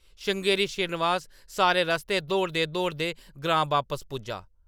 श्रृंगेरी श्रीनिवास सारे रस्तै दौड़दे-दौड़दे ग्रां बापस पुज्जा ।